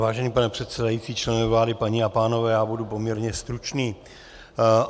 Vážený pane předsedající, členové vlády, paní a pánové, já budu poměrně stručný.